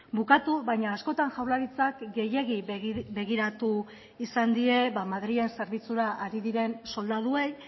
bukatu baina askotan jaurlaritzak gehiegi begiratu izan die madrilen zerbitzura ari diren soldaduei